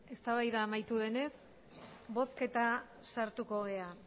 eztabaida amaitu denez bozketan sartuko gara